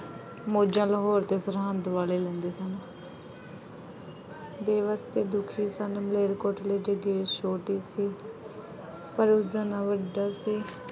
ਮੌਜ਼ਾਂ ਲਾਹੌਰ ਅਤੇ ਸਰਹੰਦ ਵਾਲੇ ਲੈਂਦੇ ਸਨ। ਬੇਵੱਸ ਅਤੇ ਦੁਖੀ ਸਨ ਮਲੇਕਰਕੋਟਲੇ ਦੇ ਦੇਸ਼ ਛੋੜ ਦਿੱਤੀ। ਪਰ ਉਸਦਾ ਨਾਂ ਵੱਜਦਾ ਸੀ ।